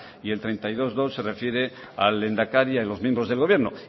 y el treinta y dos punto dos se refiere al lehendakari y a los miembros del gobierno